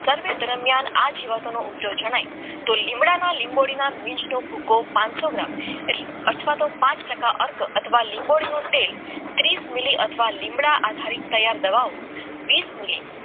દરમિયાન આ જીવાતો નો ઉપયોગ જણાય લીમડાના લીંબોડી ના બીજ નું ભૂકો પનસો ગ્રામ અથવા તો પાંચ ટકા અથવા લીંબોળી લીંબોળી નું તેલ ત્રીસ લીમડા આધારિત દવાઓ વીસ મીલી